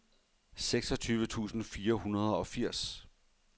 seksogtyve tusind fire hundrede og firs